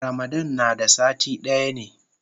Ramadan na da sati daya ne.